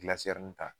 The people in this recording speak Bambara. Gilasi n ta